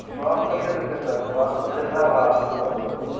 ಪ್ರವಾಸ ಮಂದಿರ ಇರ್ತೆತಿಲಾ ಪ್ರವಾಸ ಮಂದಿರದಾಗ ಹ್ವಾ~ ಇದ್ ಮಾಡೋದು.